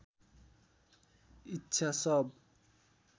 इच्छा सब